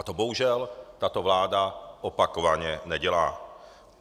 A to bohužel tato vláda opakovaně nedělá.